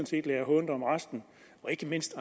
set lader hånt om resten og ikke mindst